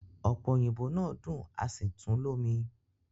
Ọpe oyinbo naa dun asi tun lomi